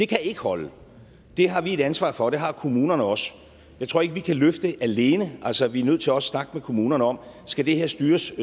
kan ikke holde det har vi et ansvar for og det har kommunerne også jeg tror ikke vi kan løfte det alene altså vi er nødt til også at snakke med kommunerne om skal det her styres